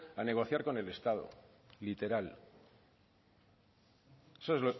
a negociar con el estado literal eso